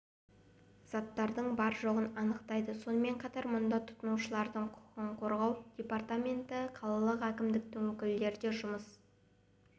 заттардың бар-жоғын анықтайды сонымен қатар мұнда тұтынушылардың құқығын қорғау департаменті қалалық әкімдіктің өкілдері де жұмыс